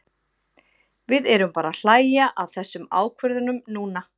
Við erum bara að hlæja að þessum ákvörðunum núna.